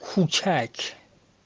скачать